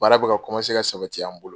Baara bɛ ka ka sabati an bolo.